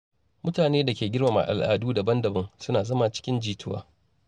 Mutane da ke girmama al’adu daban-daban suna zama cikin jituwa.